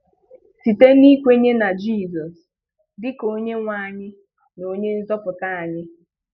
Site n'ikwenye na Jizọs dịka Onyenwe anyị na Onyenzọpụta anyị.